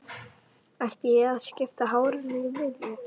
Ætti ég að skipta hárinu í miðju?